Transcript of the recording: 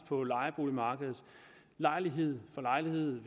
på lejeboligmarkedet lejlighed for lejlighed